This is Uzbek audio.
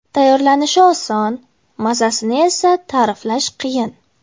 Tayyorlanishi oson, mazasini esa ta’riflash qiyin.